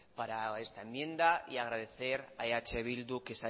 para esta enmienda y agradecer a eh bildu